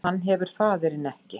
Hann hefur faðirinn ekki